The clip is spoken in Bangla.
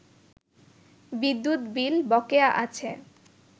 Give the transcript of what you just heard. বিদ্যুৎ বিল বকেয়া আছে